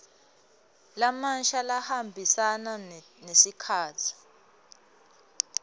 lamasha lahambisana nesikhatsi